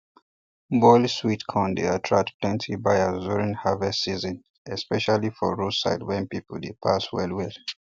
boiled sweet corn dey attract plenty buyers during harvest season especially for roadside where people dey pass well well